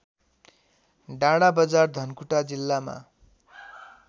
डाँडाबजार धनकुटा जिल्लामा